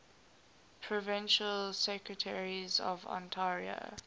provincial secretaries of ontario